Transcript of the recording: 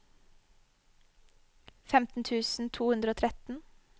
femten tusen to hundre og tretten